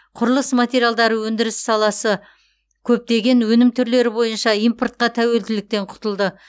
құрылыс материалдары өндірісі саласы көптеген өнім түрлері бойынша импортқа тәуелділіктен құтылды